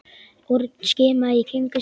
Örn skimaði í kringum sig.